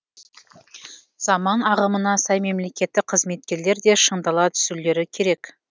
заман ағымына сай мемлекеттік қызметкерлер де шыңдала түсулері керек